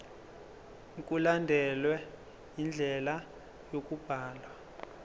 mkulandelwe indlela yokubhalwa